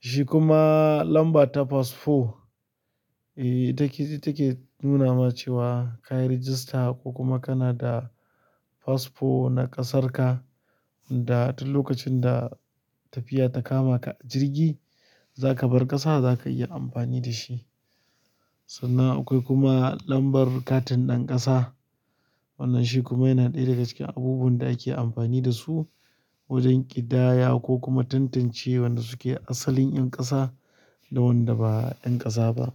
Shi kuma lamba ta fasfo, eey ita ke nuna ma cewa ka yi register ko kuma kana da fasfo na ƙasarka da duk lokacin da tafiya ta kama ka a jirgi za ka bar ƙasa za ka iya amfani da shi. Sannan akwai kuma lambar katin ɗan ƙasa. Wannan shi kuma yana ɗaya daga cikin abubuwan da ake amfani da su wajan ƙidaya ko kuma tantance waɗanda suke asalin ƴan ƙasa. Da wanda ba ƴan ƙasa ba.